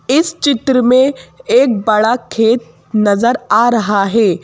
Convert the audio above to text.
इस चित्र में एक बड़ा खेत नजर आ रहा है।